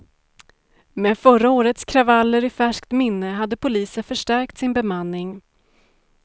Med förra årets kravaller i färskt minne hade polisen förstärkt sin bemanning.